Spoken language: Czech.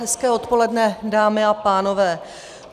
Hezké odpoledne, dámy a pánové.